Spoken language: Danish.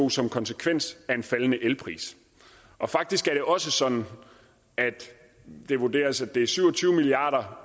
også en konsekvens af en faldende elpris faktisk er det også sådan at det vurderes at det er syv og tyve milliard